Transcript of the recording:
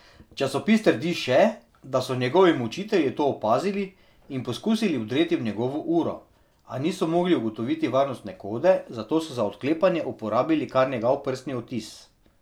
Časopis trdi še, da so njegovi mučitelji to opazili in poskusili vdreti v njegovo uro, a niso mogli ugotoviti varnostne kode, zato so za odklepanje uporabili kar njegov prstni odtis.